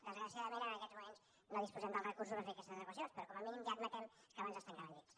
desgraciadament ara en aquests moments no disposem dels recursos per fer aquestes adequacions però com a mínim ja admetem que abans es tancaven llits